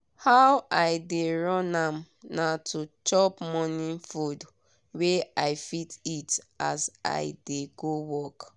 how i dey run am na to chop morning food wey i fit eat as i dey go work.